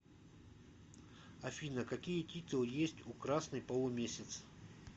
афина какие титулы есть у красный полумесяц